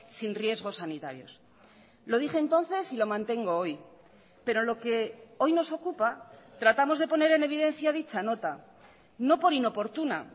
sin riesgos sanitarios lo dije entonces y lo mantengo hoy pero lo que hoy nos ocupa tratamos de poner en evidencia dicha nota no por inoportuna